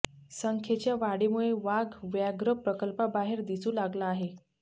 संख्येच्या वाढीमुळे वाघ व्याघ्र प्रकल्पाबाहेर दिसू लागला आहे